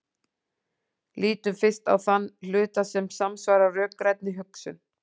Lítum fyrst á þann hluta sem samsvarar rökrænni hugsun.